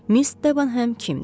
Miss Debenhem kimdir?